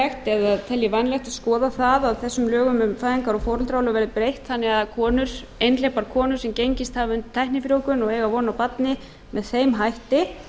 vænlegt að að skoða það að þessum lögum um fæðingar og foreldraorlof verði breytt þannig að einhleypar konur sem gengist hafa undir tæknifrjóvgun og eiga von á barni með þeim hætti